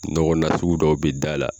Nɔgɔ nasugu dɔw bɛ da la.